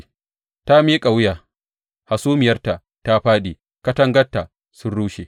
Ta miƙa wuya, hasumiyarta ta fāɗi, katangarta sun rushe.